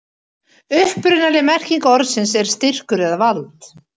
upprunaleg merking orðsins er styrkur eða vald